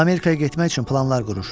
Amerikaya getmək üçün planlar qurur.